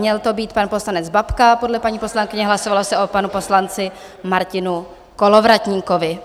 Měl to být pan poslanec Babka podle paní poslankyně, hlasovalo se o panu poslanci Martinu Kolovratníkovi.